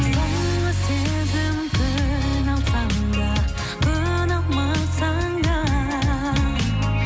соңғы сезім көне алсаң да көне алмасаң да